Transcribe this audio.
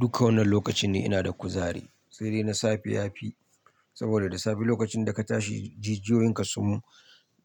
Dukka wannan lokacin ne ina da kuzari, sai dai na safe ya fi saboda da safe lokacin da ka tashi jijiyoyin ka sun